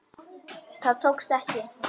Það tókst þó ekki.